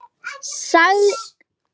sagði Svenni.